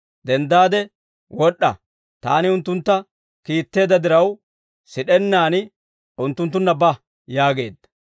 denddaade wod'd'a; Taani unttuntta kiitteedda diraw, sid'ennaan unttunttunna ba» yaageedda.